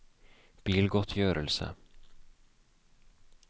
bilgodtgjørelse